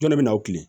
Jɔn de bɛ na u tilen